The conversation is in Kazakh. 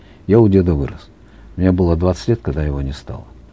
я у деда вырос мне было двадцать лет когда его не стало